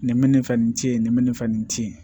Nin bɛ ni fɛ nin ci ye nin bɛ nin fɛ nin ci ye